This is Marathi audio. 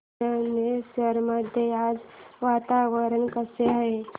चंदनेश्वर मध्ये आज वातावरण कसे आहे